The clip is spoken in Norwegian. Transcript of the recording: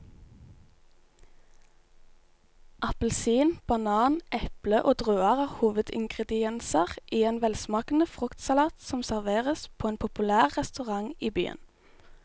Appelsin, banan, eple og druer er hovedingredienser i en velsmakende fruktsalat som serveres på en populær restaurant i byen.